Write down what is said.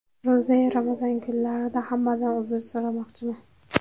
Ro‘za-yu Ramazon kunlarida hammadan uzr so‘ramoqchiman.